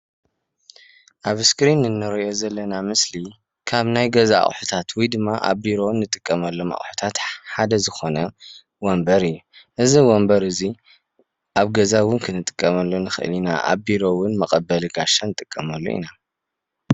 ኣብዚ እስክሪን እንሪኦ ዘለና ምስሊ ካብ ናይ ገዛ ኣቅሑታት ወይ ድማ ኣብ ቢሮ እንጥቀመሎም ኣቅሑታት ሓደ ዝኮነ ወንበር እዩ፣ እዚ ወንበር እዚ ኣብ ገዛ እውን ክንጥቀመሉ ንክእል ኢና ኣብ ቢሮ እውን መቀበሊ ጋሻ ንጥቀመሉ ኢና፡፡